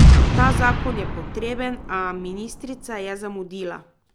Ta zakon je potreben, a ministrica je zamudila.